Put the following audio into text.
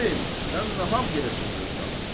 "Qozen, sən nahaq yerə çığırırsan.